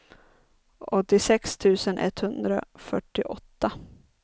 åttiosex tusen etthundrafyrtioåtta